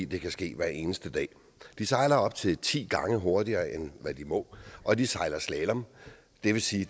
det kan ske hver eneste dag de sejler op til ti gange hurtigere end de må og de sejler slalom det vil sige